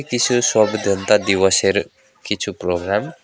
কিছু দিবসের কিছু প্রোগ্রাম ।